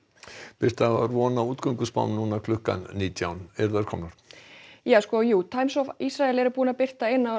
birta það var von á núna klukkan nítján eru þær komnar já Times of Isreal er búin að birta eina